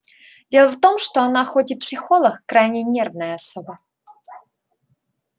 дело в том что она хоть и психолог крайне нервная особа